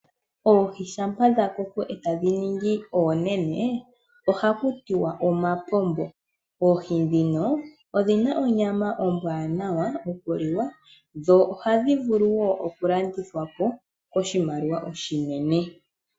Oohi shampa dha koko, etadhi ningi oonene, ohaku tiwa omapombo. Oohi ndhino odhi na onyama ombwaanawa oku liwa, dho ohadhi vulu wo oku landithwa po koshimaliwa oshinene.